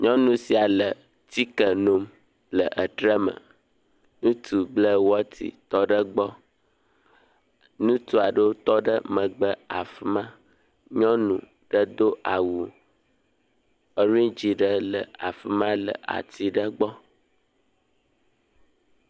Nyɔnu si le tike nom le etre me. ŋutsu ble wɔti tɔ ɖe gbɔ. Ŋutua ɖewo tɔ ɖe megbe afi ma. Nyɔnu ɖe do awu ɔridzi ɖe le afi ma le ati ɖe gbɔ.